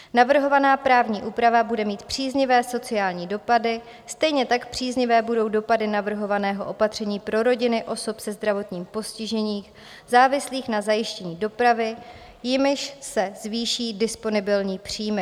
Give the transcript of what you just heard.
Navrhovaná právní úprava bude mít příznivé sociální dopady, stejně tak příznivé budou dopady navrhovaného opatření pro rodiny osob se zdravotním postižením závislých na zajištění dopravy, jimž se zvýší disponibilní příjmy.